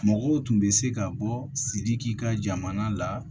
Mɔgɔw tun bɛ se ka bɔ sidiki ka jamana la